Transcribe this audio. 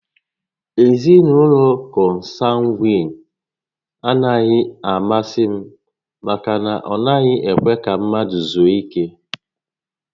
Ezinaụlọ kọnsangwiin a naghị amasị m maka na ha anaghị ekwe ka mmadụ zuo ike